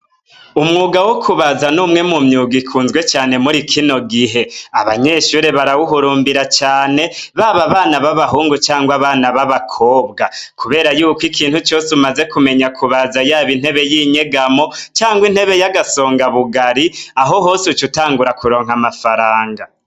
Umwuga wokubaza numwe mumyuga ikunzwe cane muri kino gihe abanyeshure barabihurumbira cane baba abana babahungu canke babakobwa kubera yuko ikintu cose umaze kumenya kubaza yaba intebe yinyegamo canke intebe yagasonga bugari ahohose ucutangura kuronka amafaranga